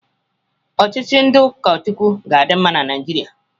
Ọchịchị ndị ụkọ Chukwu ga-adị mma na Naijiria.